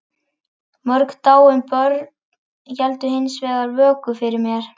Mörg dáin börn héldu hins vegar vöku fyrir mér.